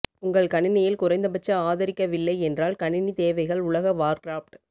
உங்கள் கணினியில் குறைந்தபட்ச ஆதரிக்கவில்லை என்றால் கணினி தேவைகள் உலக வார்கிராப்ட்